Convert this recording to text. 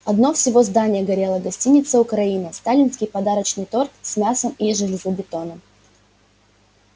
одно всего здание горело гостиница украина сталинский подарочный торт с мясом и железобетоном